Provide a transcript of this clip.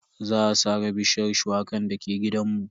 Za a sare bishiyar shuwakan dake gidanmu.